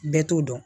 Bɛɛ t'o dɔn